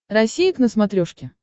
россия к на смотрешке